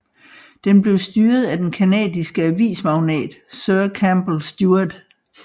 Den blev styret af den canadiske avismagnat sir Campbell Stuart